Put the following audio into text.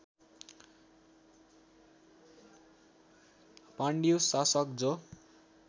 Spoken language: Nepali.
पाण्डुय शासक जो